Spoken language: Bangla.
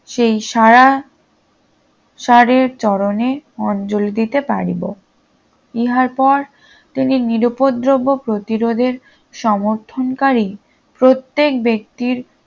সেই সাড়া সাড়ের চরণে অঞ্জলি দিতে পারিব ইহার পর তিনি নিরুপদ্রব্য প্রতিরোধের সমর্থনকারী প্রত্যেক ব্যক্তির